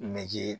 Nege